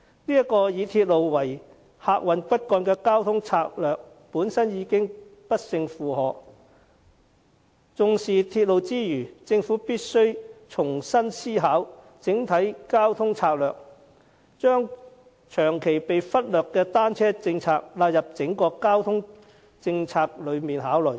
這個以鐵路為客運骨幹的交通策略本身已經不勝負荷，因此，在重視鐵路之餘，政府必須重新思考整體交通策略，將長期被忽略的單車政策納入整個交通政策來考慮。